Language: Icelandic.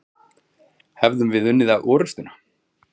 Hefðum við unnið orustuna?